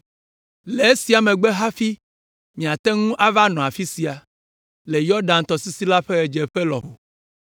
Le esia megbe hafi miate ŋu ava nɔ afi sia, le Yɔdan tɔsisi la ƒe ɣedzeƒe lɔƒo.’ ”